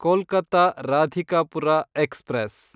Kolkata Radhikapur express